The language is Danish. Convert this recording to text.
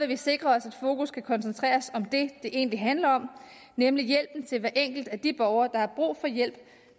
vi sikre os at fokus kan koncentreres om det det egentlig handler om nemlig hjælpen til hver enkelt af de borgere der har brug for hjælp